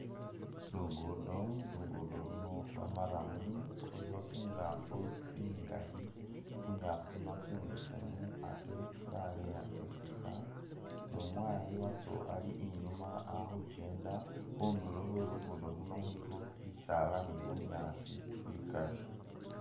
Lugudo lugudo luno lwa murram lulikho tsi ngafu tsingali taingafu tsino tsi mbesemu ate tsa leya tsitsika nu mwayi watso ali inyuma akhukyenda khunduro khwe lugudo khuno khulikho bisala ni bunyaasi bikali.